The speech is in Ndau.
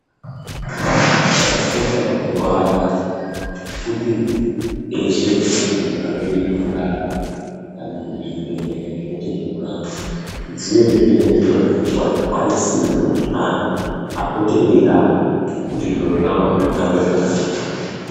Chakakosha mazuwaanaya kuti eshe anthu anoite zvekurapa kana kuti zvibhedhleya zvinoite zvekurapa dziye zviine zviro zvekupuwa zvikwanisiro zvekuti anthu apote eirapwa kuti zviro zvao zvihambe zvakanaka.